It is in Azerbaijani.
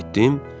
Nə hiss etdim?